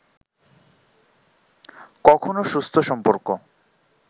কখনও সুস্থ সম্পর্ক